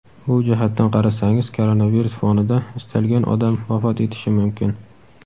Bu jihatdan qarasangiz koronavirus fonida istalgan odam vafot etishi mumkin.